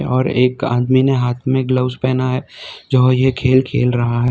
और एक आदमी ने हाथ में ग्लव्स पहना है जो ये खेल खेल रहा है।